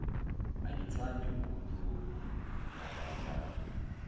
angithandi ukuloku ngadlala